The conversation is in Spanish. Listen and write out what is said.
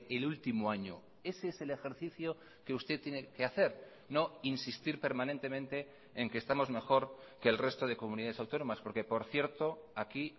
el último año ese es el ejercicio que usted tiene que hacer no insistir permanentemente en que estamos mejor que el resto de comunidades autónomas porque por cierto aquí